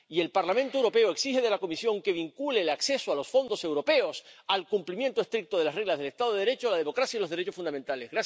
Y el Parlamento Europeo exige de la Comisión que vincule el acceso a los fondos europeos al cumplimiento estricto de las reglas del estado de Derecho, la democracia y los derechos fundamentales.